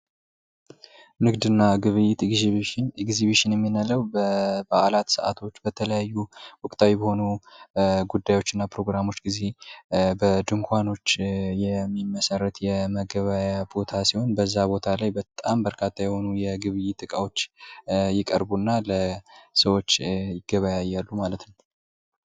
የገበያ ጥናት የሸማቾችን ምርጫና አዝማሚያ በመተንተን ለንግድ ስትራቴጂዎች ጠቃሚ መረጃ ይሰጣል